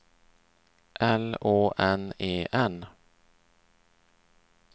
L Å N E N